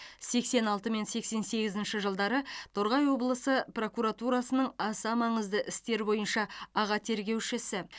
сексен алты мен сексен сегізінші жылдары торғай облысы прокуратурасының аса маңызды істер бойынша аға тергеушісі